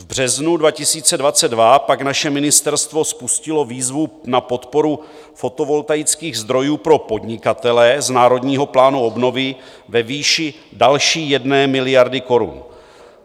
V březnu 2022 pak naše ministerstvo spustilo výzvu na podporu fotovoltaických zdrojů pro podnikatele z Národního plánu obnovy ve výši další 1 miliardy korun.